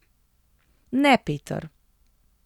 Ne, Peter.